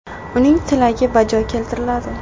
Uning tilagi bajo keltiriladi.